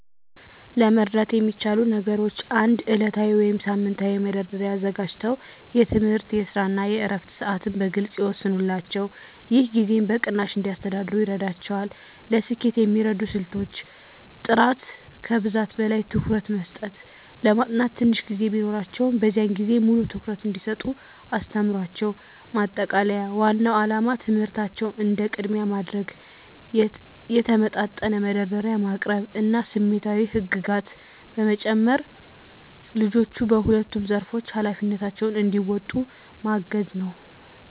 ለመርዳት የሚቻሉ ነገሮች 1. ዕለታዊ ወይም ሳምንታዊ መደርደሪያ አዘጋጅተው የትምህርት፣ የስራ እና የዕረፍት ሰዓትን በግልፅ ይወስኑላቸው። ይህ ጊዜን በቅናሽ እንዲያስተዳድሩ ይረዳቸዋል። ለስኬት የሚረዱ ስልቶች · ጥራት ከብዛት በላይ ትኩረት መስጠት ለማጥናት ትንሽ ጊዜ ቢኖራቸውም፣ በዚያን ጊዜ ሙሉ ትኩረት እንዲሰጡ አስተምሯቸው። ማጠቃለያ ዋናው ዓላማ ትምህርታቸውን እንደ ቅድሚያ ማድረግ፣ የተመጣጠነ መደርደሪያ ማቅረብ እና ስሜታዊ ህግጋት በመጨመር ልጆቹ በሁለቱም ዘርፎች ኃላፊነታቸውን እንዲወጡ ማገዝ ነው።